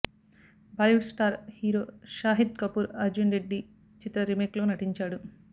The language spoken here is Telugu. బాలీవుడ్ స్టార్ హీరో షాహిద్ కపూర్ అర్జున్ రెడ్డి చిత్ర రీమేక్ లో నటించాడు